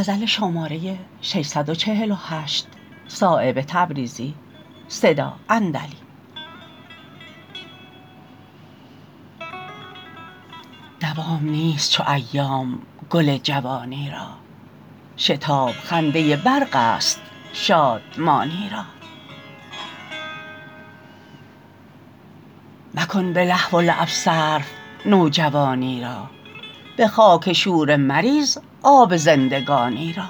دوام نیست چو ایام گل جوانی را شتاب خنده برق است شادمانی را مکن به لهو و لعب صرف نوجوانی را به خاک شوره مریز آب زندگانی را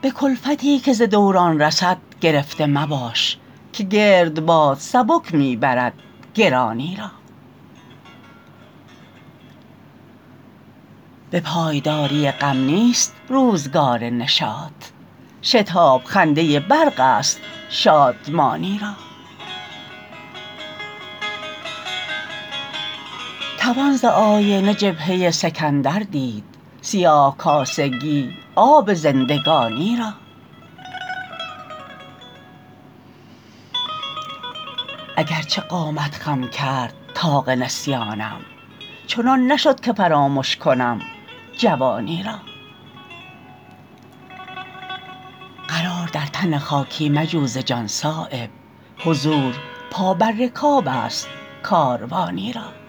به کلفتی که ز دوران رسد گرفته مباش که گردباد سبک می برد گرانی را به پایداری غم نیست روزگار نشاط شتاب خنده برق است شادمانی را توان ز آینه جبهه سکندر دید سیاه کاسگی آب زندگانی را اگر چه قامت خم کرد طاق نسیانم چنان نشد که فرامش کنم جوانی را قرار در تن خاکی مجو ز جان صایب حضور پا بر رکاب است کاروانی را